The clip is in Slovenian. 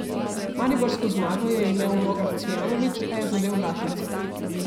Mariborsko zmago je imel v nogah Cvijanović, a je zadel vratnico.